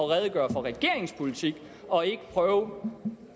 redegøre for regeringens politik og ikke prøve